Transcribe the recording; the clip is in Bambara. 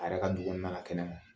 A yɛrɛ ka du kɔnɔna la kɛnɛma